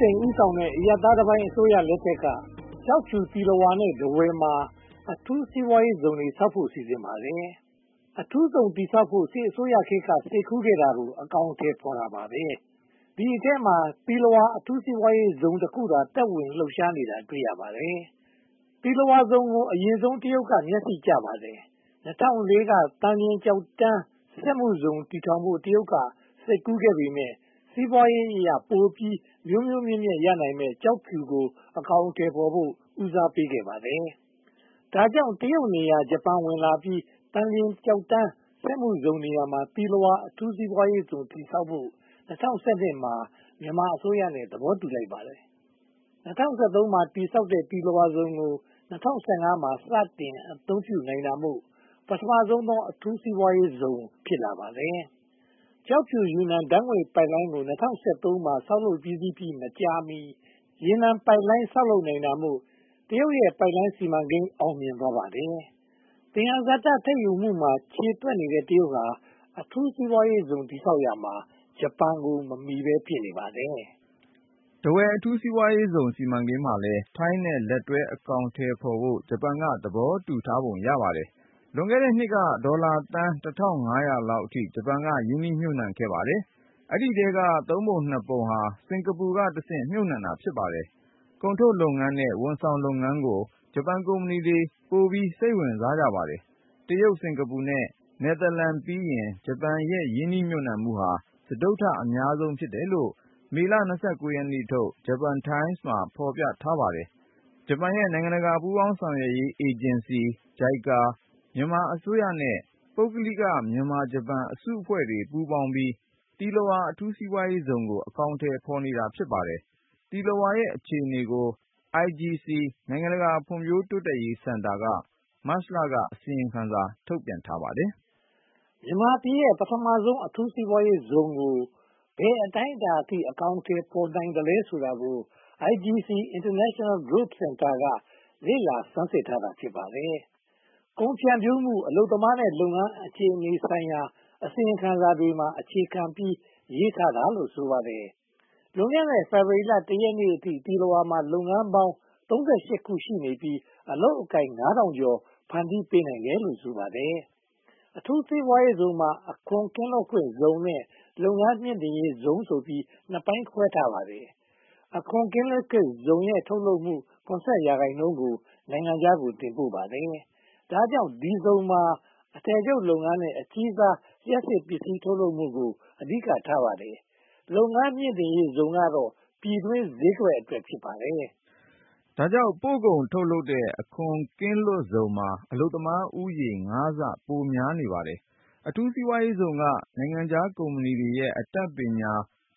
စိန် ဦးဆောင်တဲ့ အရပ်သားတပိုင်း အစိုးရလက်ထက်မှာ ကျောက်ဖြူ၊ သီလဝါ နဲ့ ထားဝယ်တို့မှာ အထူးစီးပွားရေးဇုန်တွေ တည်ဆောက်ဖို့ စီစဉ်ခဲ့ပါတယ်။ အထူးစီးပွားရေးဇုန် တည်ဆောက်ဖို့ စစ်အစိုးရခေတ်က စိတ်ကူးခဲ့တာကို အကောင်အထည်ဖော်တာ ဖြစ်ပါတယ်။ ဒီအထဲမှာ သီလဝါ အထူးစီးပွားရေးဇုန်တခုတည်းသာ သက်ဝင်လှုပ်ရှားနေတာကို တွေ့ရပါတယ်။ သီလဝါဇုန်ကို အရင်ဆုံး တရုတ်က မျက်စိကျခဲ့ပါတယ်။ ၂၀၀၄ ခုနှစ်က သံလျှင်ကျောက်တန်း စက်မှုဇုန် တည်ဆောက်ဖို့ တရုတ်က စိတ်ကူးခဲ့ပေမယ့် စီးပွားရေးအရ ပိုပြီးမြိုးမြိုးမြက်မြက် ရနိုင်မယ့် ကျောက်ဖြူကို အကောင်အထည်ဖော်ဖို့ ဦးစားပေးခဲ့ပါတယ်။ ဒါကြောင့် တရုတ်နေရာ ဂျပန်ဝင်ရောက်ပြီး သံလျှင်ကျောက်တန်း စက်မှုဇုန်နေရာမှာ သီလဝါ အထူးစီးပွားရေးဇုန် တည်ဆောက်ဖို့ ၂၀၁၂ မှာ မြန်မာအစိုးရနဲ့ သဘောတူလိုက်ပါတယ်။ ၂၀၁၃ မှာ တည်ဆောက်ခဲ့တဲ့ သီလဝါဇုန်ကို ၂၀၁၅ မှာ စတင်အသုံးပြုနိုင်တာမို့ ပထမဆုံးသော အထူးစီးပွားရေးဇုန် ဖြစ်လာပါတယ်။ ကျောက်ဖြူ၊ ယူနန် ဓါတ်ငွေ့ပိုက်လိုင်းကို ၂၀၁၃ မှာ တည်ဆောက်ပြီးစီးပြီ မကြာမီ ရေနံပိုက်လိုင်း ဆောက်လုပ်နိုင်တာမို့ တရုတ်ရဲ့ ပိုက်လိုင်းစီမံကိန်း အောင်မြင်သွားပါတယ်။ သယံဇာတ ထုတ်လုပ်မှုမှာ ခြေသွက်တဲ့ တရုတ်ဟာ အထူးစီးပွားရေးဇုန် တည်ဆောက်ရာမှာ ဂျပန်ကို မမီဘဲ ဖြစ်နေပါတယ်။ ထားဝယ် အထူးစီးပွားရေးဇုန် စီမံကိန်းမှာလည်း ထိုင်းနဲ့လက်တွဲ အကောင်အထည်ဖော်ဖို့ ဂျပန်က သဘောတူထားပုံ ရပါတယ်။ လွန်ခဲ့တဲ့နှစ်က ဒေါ်လာသန်း လောက်အထိ ဂျပန်က ရင်းနှီးမြှုပ်နံှခဲ့ပါတယ်။ ဒီအထဲက သုံးပုံနှစ်ပုံဟာ စင်္ကာပူကတဆင့် မြုပ်နံှတာ ဖြစ်ပါတယ်။ ကုန်ထုတ်လုပ်ငန်းနဲ့ ဝန်ဆောင်မှုလုပ်ငန်းကို ဂျပန်ကုမ္ပဏီတွေက ပိုပြီးစိတ်ဝင်စားကြပါတယ်။ တရုတ်၊ စင်္ကာပူ နဲ့ နယ်သာလန်ပြီးရင် ဂျပန် ရင်းနှီးမြုပ်နံှမှုဟာ စတုတ္ထ အများဆုံး ဖြစ်တယ်လို့ မေလ ရက်နေ့ထုတ် Japan Times မှာ ဖော်ပြထားပါတယ်။ ဂျပန်နဲ့ နိုင်ငံတကာ ပူးပေါင်းဆောင်ရွက်ရေး အေဂျင်စီ ၊ မြန်မာအစိုးရနဲ့ ပုဂ္ဂလိက မြန်မာ-ဂျပန် အစုအဖွဲ့တွေပေါင်းပြီး သီလဝါ အထူးစီးပွားရေးဇုန်ကို အကောင်အထည်ဖော်နေပါတယ်။ သီလဝါရဲ့ အခြေအနေကို IGC နိုင်ငံတကာဖွံ့ဖြိုးတိုးတက်ရေးစင်တာက မတ်လမှာ အစီရင်ခံစာထုတ် တင်ပြထားပါတယ်။ မြန်မာပြည်ရဲ့ ပထမဦးဆုံး အထူးစီးပွားရေးဇုန်ကို ဘယ်အတိုင်းအတာအထိ အကောင်အထည် ဖော်နိုင်သလဲဆိုတာကို IGC – International Growth Centre က လေ့လာဆန်းစစ်ထားတာ ဖြစ်ပါတယ်။ ကုန်ဖြန့်ဖြူးမှု၊ အလုပ်သမားနဲ့ လုပ်ငန်းအခြေအနေဆိုင်ရာ အစီရင်ခံစာတွေမှာ အခြေခံပြီး ရေးထားတာလို့ ဆိုပါတယ်။ လွန်ခဲ့တဲ့ ဖေဖေါ်ဝါရီလ ရက်နေ့အထိ သီလဝါမှာ လုပ်ငန်းပေါင်း ခု ရှိနေပြီး အလုပ်အကိုင် ကျော်ကို ဖန်တီးပေးနိုင်တယ်လို့ ဆိုပါတယ်။ အထူးစီးပွားရေးဇုန်မှာ အခွန်ကင်းလွတ်ဇုန်နဲ့ လုပ်ငန်းမြှင့်တင်ရေးဇုန်ဆိုပြီး နှစ်ပိုင်းခွဲထားပါတယ်။ အခွန်ကင်းလွတ်ဇုန်ရဲ့ ထုတ်လုပ်မှု ရာခိုင်နှုန်းကို နိုင်ငံခြားကို တင်ပို့ရပါတယ်။ ဒါကြောင့် ဒီဇုန်မှာ အထည်ချုပ်လုပ်ငန်းနဲ့ အကြီးစား လျှပ်စစ်ပစ္စည်း ထုတ်လုပ်မှုကို အဓိကထားပါတယ်။ လုပ်ငန်းမြှင်တင့်ရေးဇုန်ကတော့ ပြည်တွင်းဈေးကွက်အတွက် ဖြစ်ပါတယ်။ ဒါကြောင့် ပို့ကုန်ထုတ်လုပ်တဲ့ အခွန်ကင်းလွတ်ဇုန်မှာ အလုပ်သမားဦးရေ ဆ ပိုများပါတယ်။ အထူးစီးပွားရေးဇုန်က နိုင်ငံခြားကုမ္ပဏီတွေရဲ့ အတတ်ပညာ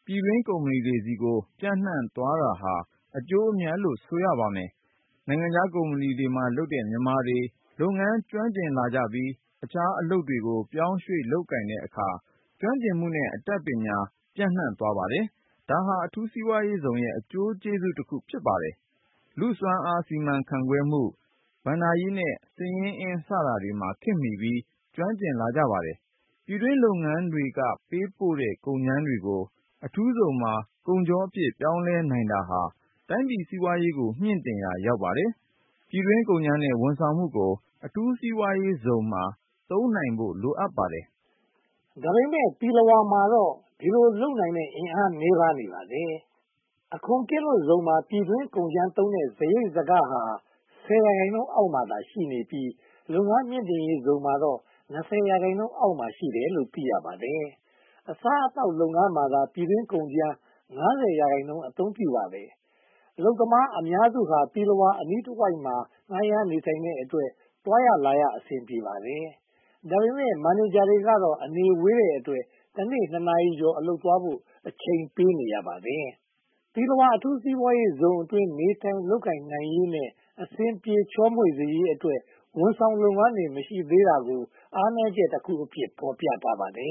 ပြည်တွင်းကုမ္ပဏီဆီကို ပျံ့နံှ့သွားတာဟာ အကျိုးအမြတ်လို့ ဆိုပါတယ်။ နိုင်ငံခြားကုမ္ပဏီမှာလုပ်တဲ့ မြန်မာတွေ လုပ်ငန်းကျွမ်းကျင်လာကြပြီး အခြားအလုပ်တွေကို ပြောင်းရွှေ့လုပ်ကိုင်တဲ့အခါ ကျွမ်းကျင်မှုနဲ့ အတတ်ပညာ ပျံ့နံှ့သွားပါတယ်။ ဒါဟာ အထူးစီးပွားရေးဇုန်ရဲ့ အကျိုးကျေးဇူးတခု ဖြစ်ပါတယ်။ လူ့စွမ်းအား စီမံခန့်ခွဲမှု၊ ဘဏ္ဍာရေးနဲ့ စာရင်းဇယားတွေမှာ ခေတ်မီပြီး ကျွမ်းကျင်လာကြပါတယ်။ ပြည်တွင်းလုပ်ငန်းတွေက ပေးပို့တဲ့ ကုန်ကြမ်းတွေကို အထူးဇုန်မှာ ကုန်ချောအဖြစ် ပြောင်းလဲနိုင်တာဟာ တိုင်းပြည်စီးပွားရေးကို မြှင့်တင်ရာ ရောက်ပါတယ်။ ပြည်တွင်းကုန်ကြမ်းနဲ့ ဝန်ဆောင်မှုကို အထူးစီးပွားရေးဇုန်မှာ သုံးနိုင်ဖို့ လိုအပ်ပါတယ်။ ဒါပေမဲ့ သီလဝါမှာတော့ ဒီလိုလုပ်နိုင်တဲ့ အင်အားနည်းပါးနေပါတယ်။ အခွန်ကင်းလွတ်ဇုန်မှာ ပြည်တွင်းကုန်ကြမ်းသုံးတဲ့ စရိတ်စခဟာ ရာခိုင်နှုန်းအောက်မှာ ရှိနေပြီး၊ လုပ်ငန်းမြှင်တင်ရေးဇုန်မှာတော့ ရာခိုင်နှုန်းအောက်မှာ ရှိနေတယ်လို့ သိရပါတယ်။ အစားအသောက်လုပ်ငန်းမှာသာ ပြည်တွင်းကုန်ကြမ်း ရာခိုင်နှုန်း အသုံးပြုပါတယ်။ အလုပ်သမားအများစုဟာ သီလဝါ အနီးတဝိုက်မှာ ငှားရမ်းနေထိုင်ကြတဲ့အတွက် သွားလာရေး အဆင်ပြေပါတယ်။ ဒါပေမဲ့ မန်နေဂျာတွေကတော့ အနေဝေးတဲ့အတွက် တနေ့ နာရီကျော် အလုပ်သွားဖို့ အချိန်ပေးနေရပါတယ်။ သီလဝါ အထူးစီးပွားရေးဇုန်အတွင်း နေထိုင်လုပ်ကိုင်နိုင်ရေးနဲ့ အဆင်ပြေ ချောမွေ့စေရေးအတွက် ဝန်ဆောင်လုပ်ငန်းတွေ မရှိသေးတာကို အားနည်းချက်တခုအဖြစ် ဖော်ပြထားပါတယ်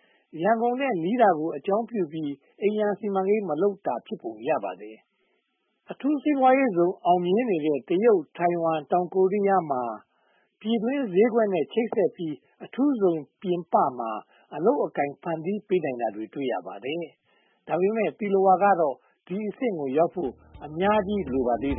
။ ရန်ကုန်နဲ့နီးတာကို အကြောင်းပြုပြီး အိမ်ရာစီမံကိန်း မလုပ်တာဖြစ်ပုံ ရပါတယ်။ အထူးစီးပွားရေးဇုန် အောင်မြင်နေတဲ့ တရုတ်၊ ထိုင်ဝမ်နဲ့ တောင်ကိုရီးယားမှာ ပြည်တွင်းဈေးကွက်နဲ့ ချိတ်ဆက်ပြီး အထူးဇုန်ပြင်ပမှာ အလုပ်အကိုင်တွေ ဖန်တီးပေးနိုင်တာ တွေ့ရပါတယ်။ ဒါပေမဲ့ သီလဝါကတော့ ဒီအဆင့်ကိုရောက်ဖို့ အများကြီးလိုပါသေးတယ်